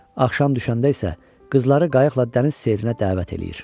Axşam düşəndə isə qızları qayıqla dəniz seyrinə dəvət eləyir.